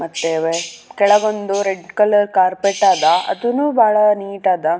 ಮತ್ತೇವೆ ಕೆಳಗೊಂದು red colour carpet ಆದ ಅದುನು ಬಾಳ ನೀಟ್ ಆದ.